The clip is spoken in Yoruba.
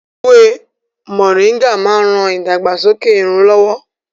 Ewé Moringa máa ń ran ìdàgbàsókè irun lọ́wọ́